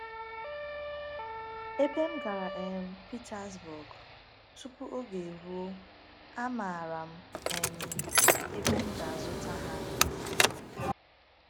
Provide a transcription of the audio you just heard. Ebe m gara um Petersburg tupu oge eruo, amaara m um ebe m ga-azụta ha.